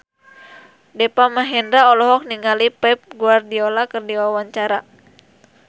Deva Mahendra olohok ningali Pep Guardiola keur diwawancara